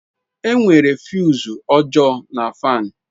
Enwere fuse ọjọọ na fan.